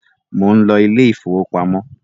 món ló Ilé ìfowópamọ́